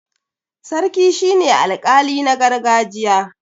sarki shi ne alƙali na gargajiya